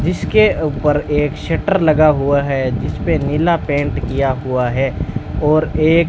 जिसके ऊपर एक शटर लगा हुआ है जिसपे नीला पेंट किया हुआ है और एक --